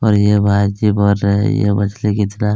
और यह बाजी बोल रहा है यह मछली कितना --